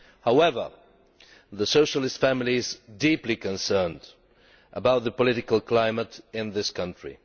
However, the Socialist family is deeply concerned about the political climate in that country.